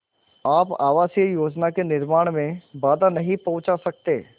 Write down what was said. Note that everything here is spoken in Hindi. आप आवासीय योजना के निर्माण में बाधा नहीं पहुँचा सकते